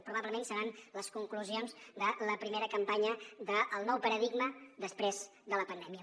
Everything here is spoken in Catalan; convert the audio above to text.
probablement seran les conclusions de la primera campanya del nou paradigma després de la pandèmia